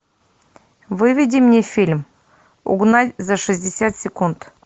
выведи мне фильм угнать за шестьдесят секунд